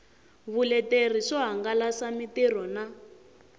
vuleteri swo hangalasa mitirho na